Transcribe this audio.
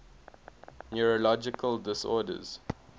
neurological disorders